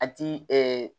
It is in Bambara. A ti